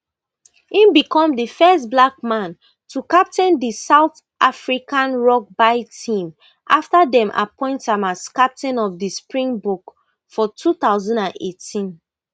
im become di first black man to captain di south african rugby team afta dem appoint am as captain of di springboks for two thousand and eighteen